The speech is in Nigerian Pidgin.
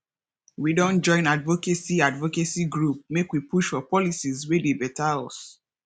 we don join advocacy advocacy group make we push for policies wey dey beta us